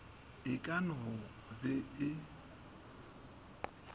e ka no be e